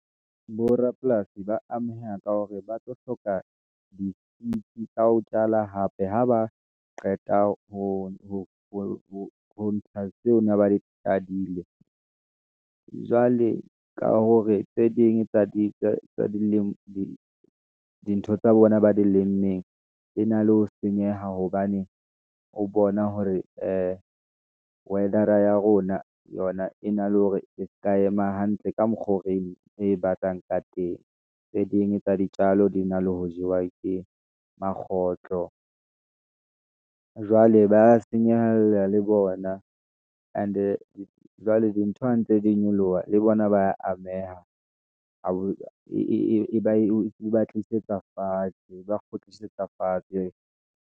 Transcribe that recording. Borapolasi ba ameha ka hore ba tlo hloka di ka ho jala hape, ha ba qeta ho ntsha tseo ne ba le jadile, jwale ka hore tse ding tsa dilema, di ntho tsa bona ba di lemmeng, di na le ho senyeha, hobane o bona hore ee, weather a ya rona, yona e na le hore e se ka ema hantle, ka mokgwa o re e batlang ka teng. Tse ding tsa ditjalo di na le ho jewa ke makgotlo . Jwale ba senyehela le bona, and-e jwale ntho hantle di nyoloha, le bona ba ameha, e ba tlisetsa fatshe, e ba kgutlisetsa fatshe.